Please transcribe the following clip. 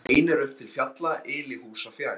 Ein er upp til fjalla, yli húsa fjær.